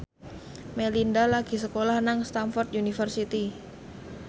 Melinda lagi sekolah nang Stamford University